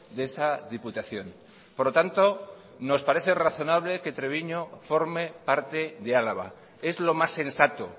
de esa diputación por lo tanto nos parece razonable que treviño forme parte de álava es lo más sensato